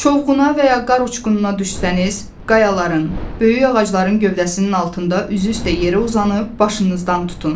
Çovğuna və ya qar uçqununa düşsəniz, qayaların, böyük ağacların gövdəsinin altında üzü üstə yerə uzanıb başınızdan tutun.